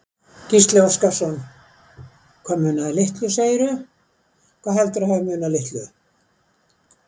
Gísli Óskarsson: Hvað munaði litlu segirðu, hvað heldurðu að hafi munað litlu?